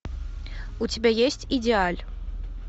у тебя есть идеаль